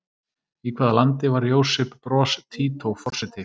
Í hvaða landi var Josip Broz Tito forseti?